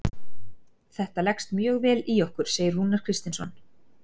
Þetta leggst mjög vel í okkur, segir Rúnar Kristinsson.